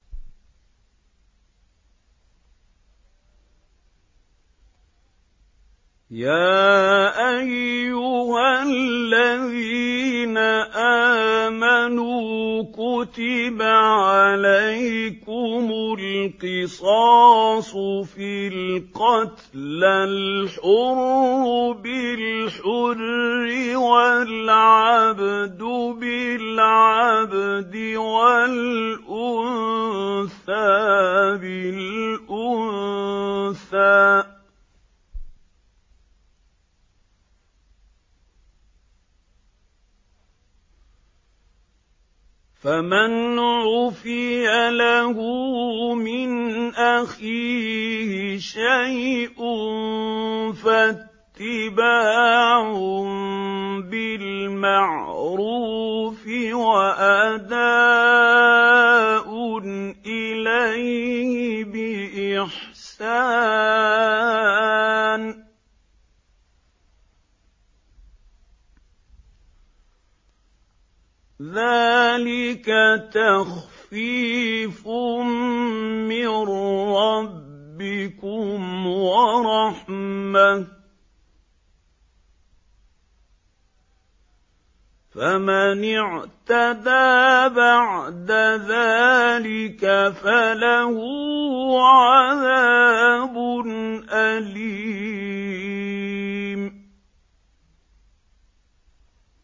يَا أَيُّهَا الَّذِينَ آمَنُوا كُتِبَ عَلَيْكُمُ الْقِصَاصُ فِي الْقَتْلَى ۖ الْحُرُّ بِالْحُرِّ وَالْعَبْدُ بِالْعَبْدِ وَالْأُنثَىٰ بِالْأُنثَىٰ ۚ فَمَنْ عُفِيَ لَهُ مِنْ أَخِيهِ شَيْءٌ فَاتِّبَاعٌ بِالْمَعْرُوفِ وَأَدَاءٌ إِلَيْهِ بِإِحْسَانٍ ۗ ذَٰلِكَ تَخْفِيفٌ مِّن رَّبِّكُمْ وَرَحْمَةٌ ۗ فَمَنِ اعْتَدَىٰ بَعْدَ ذَٰلِكَ فَلَهُ عَذَابٌ أَلِيمٌ